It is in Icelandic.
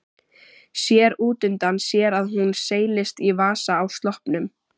Sér útundan sér að hún seilist í vasa á sloppnum.